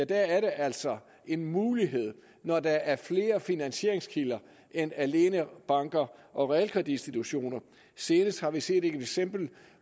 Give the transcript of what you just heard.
det altså en mulighed når der er flere finansieringskilder end alene banker og realkreditinstitutioner senest har vi set et eksempel